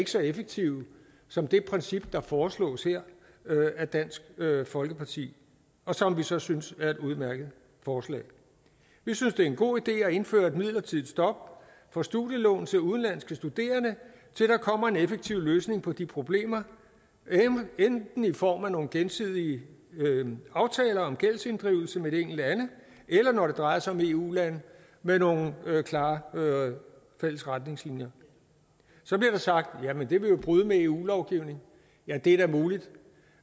så effektive som det princip der foreslås her af dansk folkeparti og som vi så synes er et udmærket forslag vi synes det er en god idé at indføre et midlertidigt stop for studielån til udenlandske studerende til der kommer en effektiv løsning på de problemer enten i form af nogle gensidige aftaler om gældsinddrivelse med de enkelte lande eller når det drejer sig om eu lande med nogle klare fælles retningslinjer så bliver der sagt jamen det vil jo bryde med eu lovgivningen ja det er da muligt